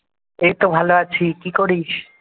এইতো ভালো আছি কি করিস?